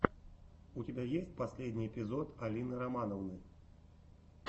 у тебя есть последний эпизод алины романовны